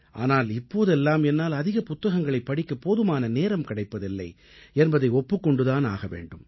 ஆனால் இப்போதெல்லாம் என்னால் அதிக புத்தகங்களைப் படிக்க போதுமான நேரம் கிடைப்பதில்லை என்பதை ஒப்புக் கொண்டு தான் ஆக வேண்டும்